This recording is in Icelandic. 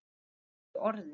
lausu orði